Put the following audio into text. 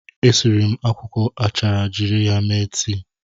E siri m akwụkwọ achara jiri ya mee tii.